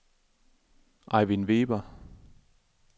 Ejvind Weber